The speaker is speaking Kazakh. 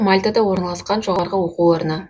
мальтада орналасқан жоғарғы оқу орны